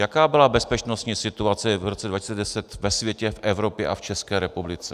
Jaká byla bezpečnostní situace v roce 2010 ve světě, v Evropě a v České republice?